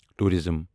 tourism